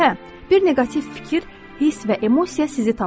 Hə, bir neqativ fikir, hiss və emosiya sizi tapır.